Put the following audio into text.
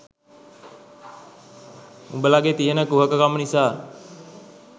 උඹලගේ තියෙන කුහක කම නිසා